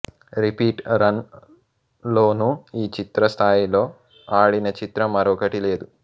repeat run లోనూ ఈ చిత్రం స్థాయిలో ఆడిన చిత్రం మరొకటి లేదు